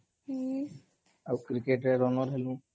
ଆଉ କ୍ରିକେଟରେ ରନର୍ ହେଲୁ